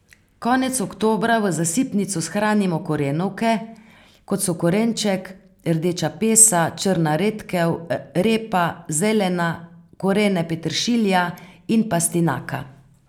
Konec oktobra v zasipnico shranimo korenovke, kot so korenček, rdeča pesa, črna redkev, repa, zelena, korene peteršilja in pastinaka.